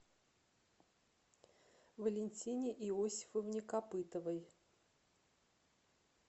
валентине иосифовне копытовой